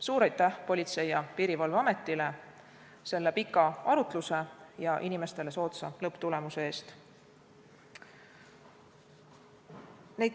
Suur aitäh Politsei- ja Piirivalveametile pika arutluse ja inimestele soodsa lõpptulemuse eest!